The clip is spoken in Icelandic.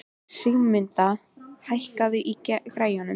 Sigurmunda, hækkaðu í græjunum.